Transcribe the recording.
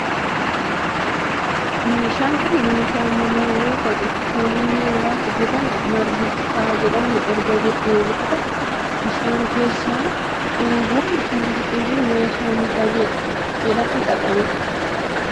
Meeshaan kun meeshaa manaa yoo ta'u kan inni irraa hojjetamu margi citaa jedhamu erga gogee booda bishaan keessa cuubamuun meeshaa mutaa jedhamun xaxama. Meeshaa kana yeroo baayyee kan itti fayyadamu namoota baadiyaati.